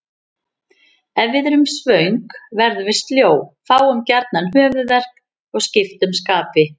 Ef við erum svöng verðum við sljó, fáum gjarnan höfuðverk og skiptum skapi.